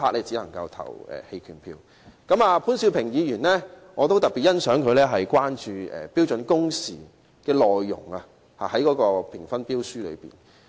此外，我也特別欣賞潘兆平議員就標書評分準則中有關標準工時的內容提出關注。